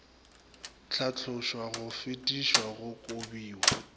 hlatlošwa go fetišwa go kobiwa